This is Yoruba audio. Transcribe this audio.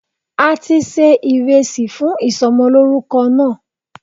A ti se ìresì fún ìsomolórúko náà